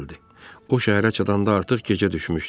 O şəhərə çatanda artıq gecə düşmüşdü.